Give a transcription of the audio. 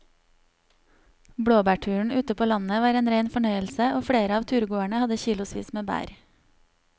Blåbærturen ute på landet var en rein fornøyelse og flere av turgåerene hadde kilosvis med bær.